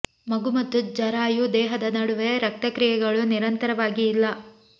ಮಗು ಮತ್ತು ಜರಾಯು ದೇಹದ ನಡುವೆ ರಕ್ತ ಕ್ರಿಯೆಗಳು ನಿರಂತರವಾಗಿ ಇಲ್ಲ